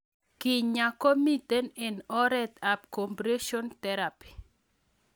Kenyaa ko mito eng' oret ab compression theraphy